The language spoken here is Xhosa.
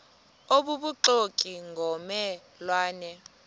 obubuxoki ngomme lwane